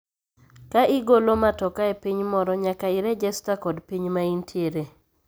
Ka igolo matoka epiny moro nyaka irejesta kod piny ma intiere